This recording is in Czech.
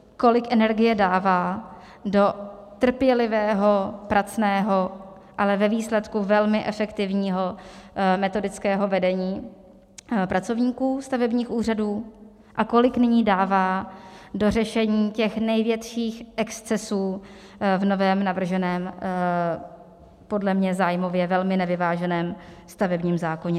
Kolik energie dává do trpělivého, pracného, ale ve výsledku velmi efektivního metodického vedení pracovníků stavebních úřadů a kolik nyní dává do řešení těch největších excesů v novém navrženém, podle mě zájmově velmi nevyváženém stavebním zákoně.